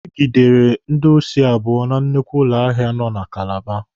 E gidere ndị osi abụọ na nnukwu ụlọ ahịa nọ na Kalaba.